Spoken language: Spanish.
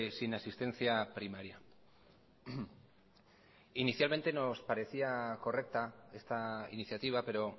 sin asistencia primaria inicialmente nos parecía correcta esta iniciativa pero